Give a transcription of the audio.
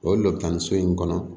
O dɔ bi taa nin so in kɔnɔ